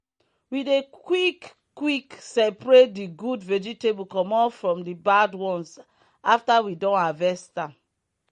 we dey quick quick separate the good vegetable comot from the bad ones after we don harvest am.